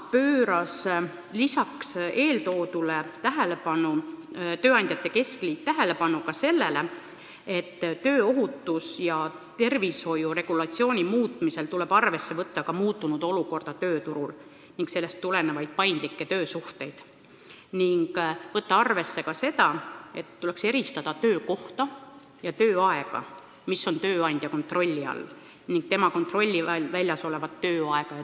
Peale eeltoodu pööras tööandjate keskliit tähelepanu sellele, et tööohutuse ja tervishoiu regulatsiooni muutmisel tuleb arvesse võtta ka muutunud olukorda tööturul ning sellest tulenevaid paindlikke töösuhteid, sealjuures eristades töökohta ja tööaega, mis on tööandja kontrolli all, ning tema kontrolli alt väljas olevat töökohta ja -aega.